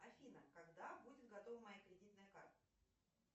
афина когда будет готова моя кредитная карта